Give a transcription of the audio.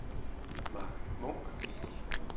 Marc Munk